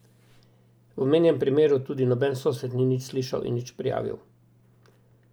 V omenjenem primeru tudi noben sosed ni nič slišal in nič prijavil.